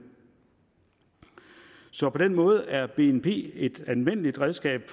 så på den måde er bnp et anvendeligt redskab